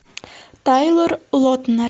тайлор лотнер